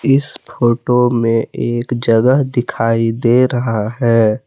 इस फोटो में एक जगह दिखाई दे रहा है।